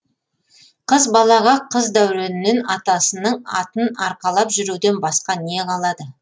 қыз балаға қыз дәуренінен атасының атын арқалап жүруден басқа не қалады